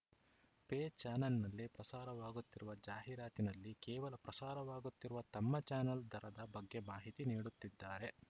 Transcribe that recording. pay ಚಾನಲ್‌ನಲ್ಲಿ ಪ್ರಸಾರವಾಗುತ್ತಿರುವ ಜಾಹೀರಾತಿನಲ್ಲಿ ಕೇವಲ ಪ್ರಸಾರವಾಗುತ್ತಿರುವ ತಮ್ಮ ಚಾನಲ್‌ ದರದ ಬಗ್ಗೆ ಮಾಹಿತಿ ನೀಡುತ್ತಿದ್ದಾರೆ